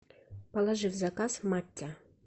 положи в заказ маття